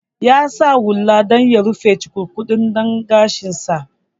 Ya sa hula saboda ya rufe cukurkuɗaɗɗen gashin sa